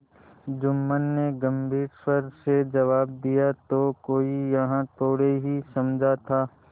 जुम्मन ने गम्भीर स्वर से जवाब दियातो कोई यह थोड़े ही समझा था